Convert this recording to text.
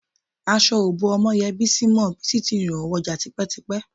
Aṣọ ò bó Ọmọ́yẹ Bísí mọ́, Bísí ti rìnhòhò wọjà tipẹ́tipẹ́